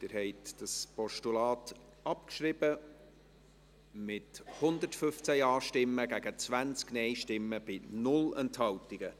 Sie haben dieses Postulat abgeschrieben, mit 115 Ja- gegen 20 Nein-Stimmen bei 0 Enthaltungen.